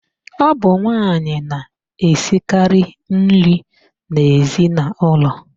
Ọ bụ nwaanyị na-esikarị nri n'ezinaụlọ.